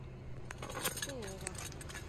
копылова